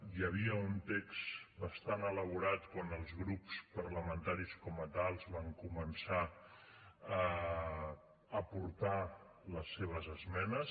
hi havia un text bastant elaborat quan els grups parlamentaris com a tals van començar a aportar les seves esmenes